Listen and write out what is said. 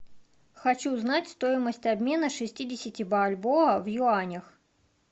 хочу знать стоимость обмена шестидесяти бальбоа в юанях